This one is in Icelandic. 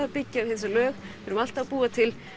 að byggja við þessi lög við erum alltaf að búa til